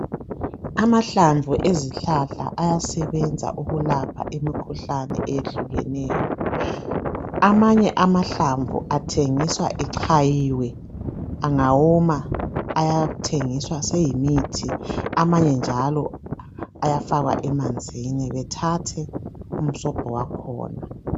Amahlamvu ezihlahla ayasebenza ukulapha imikhuhlane eyehlukeneyo. Amanye amahlamvu athengiswa echayiwe angawoma aythengiswa seyimithi, amanye njalo ayafakwa emanzini bethathe umsobho wakhona.